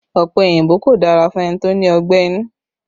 Ọ̀pẹ òyìnbó kò dára fún ẹni tó ní ọgbẹ́ inú